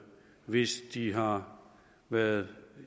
hvis de har været